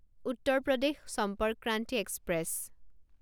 Uttar Pradesh Sampark Kranti express